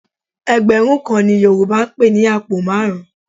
Ẹgbẹ̀rún kan ni Yorùbá ń pè ní àpò márùn-ún